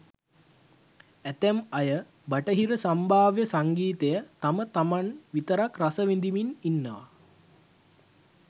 ඇතැම් අය බටහිර සම්භාව්‍ය සංගීතය තම තමන් විතරක් රස විඳිමින් ඉන්නවා.